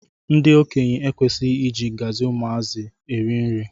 Ndi okenye ekwesighi iji ngzi ụmụ azụ eri nri.